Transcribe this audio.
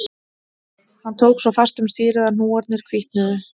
Hann tók svo fast um stýrið að hnúarnir hvítnuðu